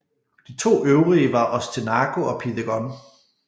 De to øvrige var Ostenaco og Pidegon